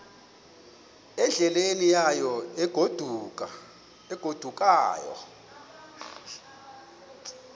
endleleni yayo egodukayo